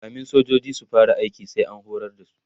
kamin sojoji su fara aiki sai an horar da su